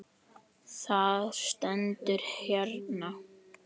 Það stendur hérna.